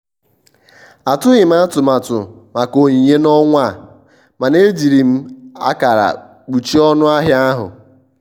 atụghị m atụmatụ maka onyinye n'ọnwa a mana ejiri m akara kpuchie ọnụ ahịa ahụ.